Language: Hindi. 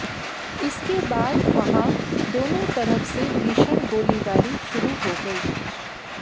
इसके बाद वहां दोनों तरफ से भीषण गोलीबारी शुरु हो गई